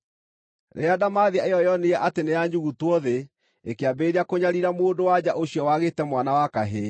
Rĩrĩa ndamathia ĩyo yoonire atĩ nĩyanyugutwo thĩ, ikĩambĩrĩria kũnyariira mũndũ-wa-nja ũcio waagĩĩte mwana wa kahĩĩ.